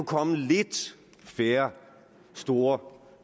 komme lidt færre store